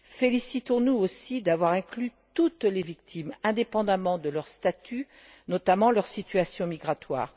Félicitons nous aussi d'avoir inclus toutes les victimes, indépendamment de leur statut, notamment leur situation migratoire.